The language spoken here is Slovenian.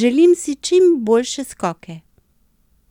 "Želim si čim boljše skoke.